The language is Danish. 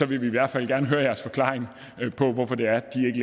vil vi i hvert fald gerne høre jeres forklaring på hvorfor de